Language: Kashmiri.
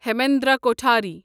ہیمندرا کوٹھاری